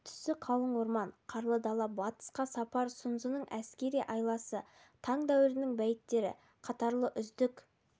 түсі қалың орман қарлы дала батысқа сапар сұнзының әскери айласы таң дәуірінің бәйіттері қатарлы үздік